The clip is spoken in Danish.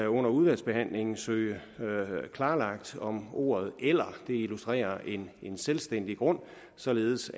under udvalgsbehandlingen søge klarlagt om ordet eller illustrerer en selvstændig grund således